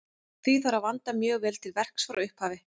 Því þarf að vanda mjög vel til verks frá upphafi.